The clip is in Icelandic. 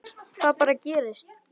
Það bara gerist.